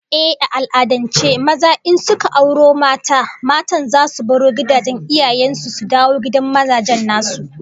Ehh, a al'adance maza in suka auro mata, matan zasu baro gidajen iyayen su su dawo gidan mazajen nasu